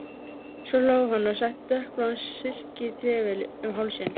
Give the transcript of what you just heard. Svo hló hann og setti dökkbláan silkitrefilinn um hálsinn.